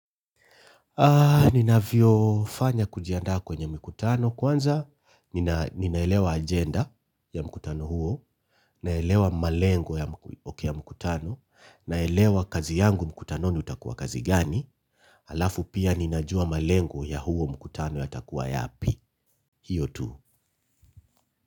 Ninavyo fanya kijiandaa kwenye mkutano kwanza nina ninaelewa agenda ya mkutano huo, naelewa malengo ya mkutano, naelewa kazi yangu mkutanoni utakuwa kazi gani, alafu pia ninajua malengo ya huo mkutano yatakuwa yapi, hiyo tu.